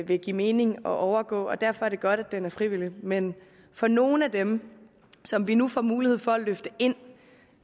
vil give mening at overgå og derfor er det godt at det er frivilligt men for nogle af dem som vi nu får mulighed for at løfte ind